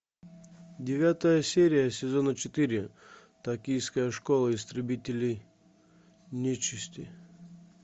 девятая серия сезона четыре токийская школа истребителей нечисти